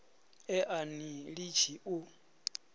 e a ni litshi u